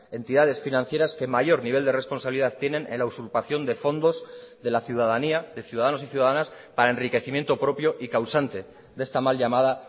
entidades financieras que mayor nivel de responsabilidad tienen en la usurpación de fondos de la ciudadanía de ciudadanos y ciudadanas para enriquecimiento propio y causante de esta mal llamada